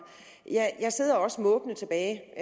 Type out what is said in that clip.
jeg sidder også måbende tilbage